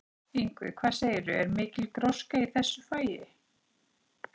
Ingvi, hvað segirðu, er mikil gróska í þessu fagi?